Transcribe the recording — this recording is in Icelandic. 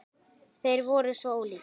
Þeir voru svo ólíkir.